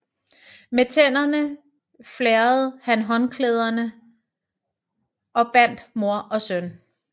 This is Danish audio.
Med tænderne flærrede han håndklæderne og bandt mor og søn